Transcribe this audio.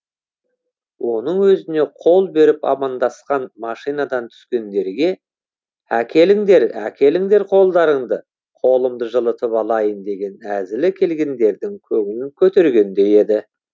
оның өзіне қол беріп амандасқан машинадан түскендерге әкеліңдер әкеліңдер қолдарыңды қолымды жылытып алайын деген әзілі келгендердің көңілін көтергендей еді